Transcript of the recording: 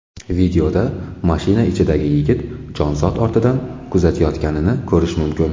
Videoda mashina ichidagi yigit jonzot ortidan kuzatayotganini ko‘rish mumkin.